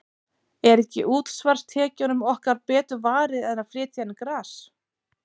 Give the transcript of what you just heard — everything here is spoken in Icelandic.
Er ekki útsvarstekjunum okkar betur varið en að flytja inn gras?